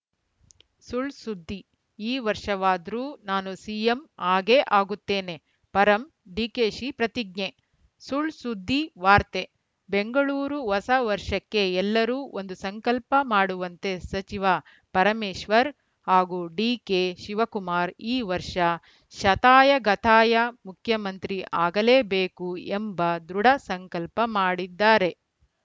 ಸುಳ್‌ ಸುದ್ದಿ ಈ ವರ್ಷವಾದ್ರೂ ನಾನು ಸಿಎಂ ಆಗೇ ಆಗುತ್ತೇನೆ ಪರಂ ಡಿಕೆಶಿ ಪ್ರತಿಜ್ಞೆ ಸುಳ್‌ಸುದ್ದಿ ವಾರ್ತೆ ಬೆಂಗಳೂರು ಹೊಸ ವರ್ಷಕ್ಕೆ ಎಲ್ಲರೂ ಒಂದು ಸಂಕಲ್ಪ ಮಾಡುವಂತೆ ಸಚಿವ ಪರಮೇಶ್ವರ್‌ ಹಾಗೂ ಡಿಕೆ ಶಿವಕುಮಾರ್‌ ಈ ವರ್ಷ ಶತಾಯಗತಾಯ ಮುಖ್ಯಮಂತ್ರಿ ಆಗಲೇ ಬೇಕು ಎಂಬ ದೃಢ ಸಂಕಲ್ಪ ಮಾಡಿದ್ದಾರೆ